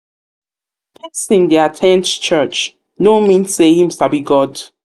persin de at ten d church no church no mean say him sabi god